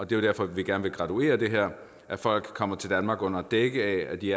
det er derfor vi gerne vil graduere det her at folk kommer til danmark under dække af at de